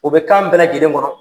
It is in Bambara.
U bɛ kan bɛɛ lajɛlen kɔnɔ